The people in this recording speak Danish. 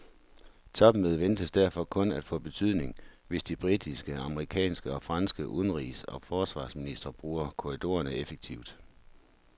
Topmødet ventes derfor kun at få betydning, hvis de britiske, amerikanske og franske udenrigs og forsvarsministre bruger korridorerne effektivt.